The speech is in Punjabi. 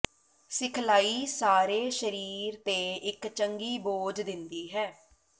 ਸਿਖਲਾਈ ਸਾਰੇ ਸਰੀਰ ਤੇ ਇੱਕ ਚੰਗੀ ਬੋਝ ਦਿੰਦੀ ਹੈ